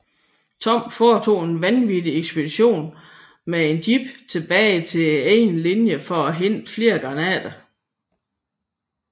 Toms foretog en vanvittig ekspedition med en jeep tilbage til egne linjer for at hente flere granater